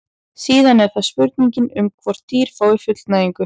síðan er það spurningin um hvort dýr fái fullnægingu